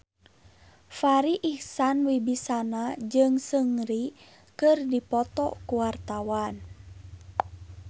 Farri Icksan Wibisana jeung Seungri keur dipoto ku wartawan